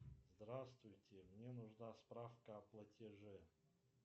здравствуйте мне нужна справка о платеже